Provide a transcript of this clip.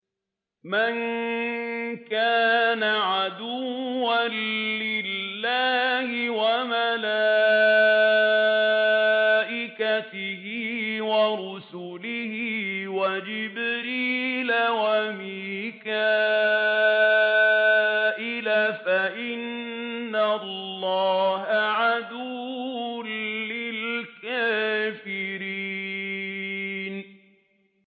مَن كَانَ عَدُوًّا لِّلَّهِ وَمَلَائِكَتِهِ وَرُسُلِهِ وَجِبْرِيلَ وَمِيكَالَ فَإِنَّ اللَّهَ عَدُوٌّ لِّلْكَافِرِينَ